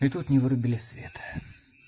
и тут мне вырубили свет